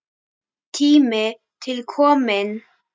Tími til kominn.